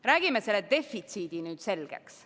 Räägime selle defitsiiditeema nüüd selgeks.